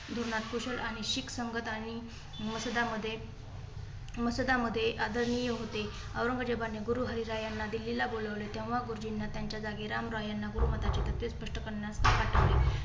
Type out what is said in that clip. धोरणात कुशल आणि शिक संगत आणि मसुदा मध्ये मसुदा मध्ये आदरणीय होते. औरंगजेबा ने गुरुहरीराय यांना दिल्लीला बोलावले. तेव्हा गुरुजींना त्यांच्या जागी रामराय यांना गुरुमाताचे स्पष्ट करण्यात पाठवले.